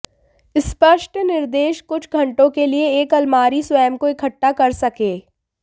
स्पष्ट निर्देश कुछ घंटों के लिए एक अलमारी स्वयं को इकट्ठा कर सकें